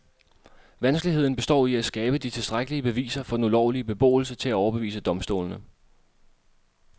Vanskeligheden består i at skabe de tilstrækkelige beviser for den ulovlige beboelse til at overbevise domstolene.